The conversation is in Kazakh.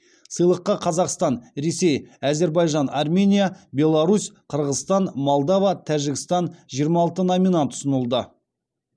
сыйлыққа қазақстан ресей әзербайжан армения беларусь қырғызстан молдава тәжікстан жиырма алты номинант ұсынылды